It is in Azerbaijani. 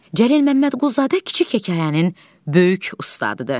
Cəlil Məmmədquluzadə kiçik hekayənin böyük ustadıdır.